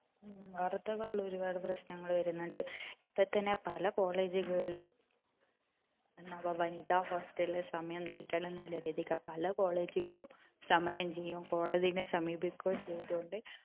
ഉം വാർത്തകളിൽ ഒരുപാട് പ്രശ്നങ്ങൾ വരുന്നുണ്ട് ഇപ്പൊത്തന്നെ പല college കളിലും എന്നാപ്പ വനിതാ hostel സമയം നീട്ടണമെന്നുള്ള രീതിക്ക് പല college കളും സമരം ചെയുകയും കോടതിയെ സമീപിക്കുകയും ചെയ്തത്‌ കൊണ്ട്